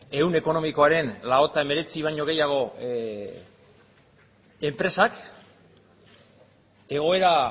ehun ekonomikoaren ehuneko laurogeita hemeretzi baino enpresak egoera